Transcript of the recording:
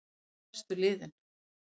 Nú er sá frestur liðinn.